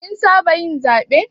Kin saba yin zaɓe.